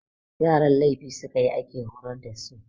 Yaran laifi su ka yi ake horar da su.